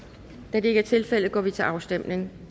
da det ikke er tilfældet går vi til afstemning